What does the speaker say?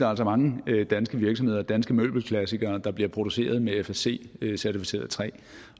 er mange danske virksomheder danske møbelklassikere der bliver produceret med fsc certificeret træ